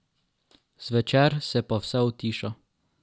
Zvečer se pa vse utiša.